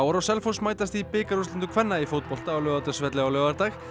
og Selfoss mætast í bikarúrslitum kvenna í fótbolta á Laugardalsvelli á laugardag